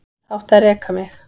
Þá átti að reka mig.